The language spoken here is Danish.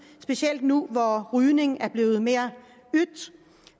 specielt nu hvor rygning er blevet mere yt